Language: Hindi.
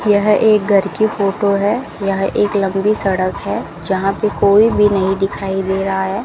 यह एक घर की फोटो है यह एक लंबी सड़क है जहां पे कोई भी नहीं दिखाई दे रहा है।